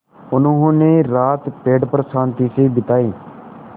उन्होंने रात पेड़ पर शान्ति से बिताई